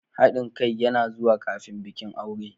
Haɗin kai yana zuwa kafin bikin aure.